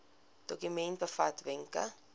dokument bevat wenke